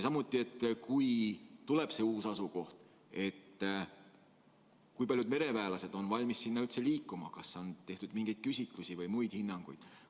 Samuti, et kui tuleb see uus asukoht, kui paljud mereväelased on valmis sinna üldse liikuma, kas on tehtud mingeid küsitlusi või antud hinnanguid?